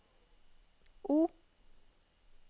O